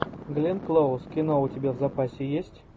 глен клоуз кино у тебя в запасе есть